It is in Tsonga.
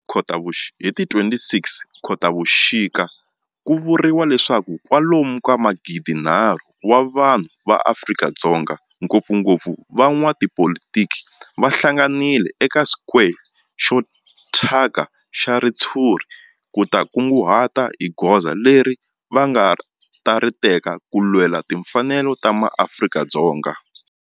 Hi ti 26 Khotavuxika ku vuriwa leswaku kwalomu ka magidinharhu wa vanhu va Afrika-Dzonga, ngopfungopfu van'watipolitiki va hlanganile eka square xo thyaka xa ritshuri ku ta kunguhata hi goza leri va nga ta ri teka ku lwela timfanelo ta maAfrika-Dzonga.